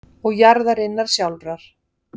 og jarðarinnar sjálfrar.